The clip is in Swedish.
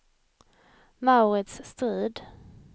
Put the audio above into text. Mauritz Strid